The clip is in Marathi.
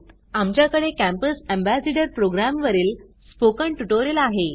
आमच्याकडे कॅम्पस एम्बेसेडर प्रोग्राम वरील स्पोकन ट्युटोरियल आहे